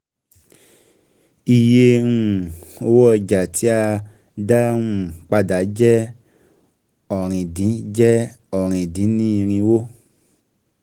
Iye um owó ọjà tí a um dá um padà jẹ́ ọ̀rin dín jẹ́ ọ̀rin dín ní irínwó.